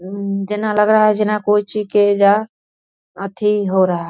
अम्म जेना लग रहा है जेना कोई चीखे जा अथी हो रहा --